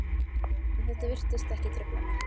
En þetta virtist ekki trufla mig.